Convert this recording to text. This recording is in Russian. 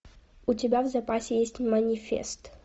у тебя в запасе есть манифест